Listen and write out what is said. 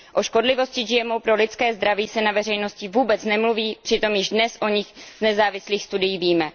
O škodlivosti GMO pro lidské zdraví se na veřejnosti vůbec nemluví, přitom již dnes o nich z nezávislých studií víme.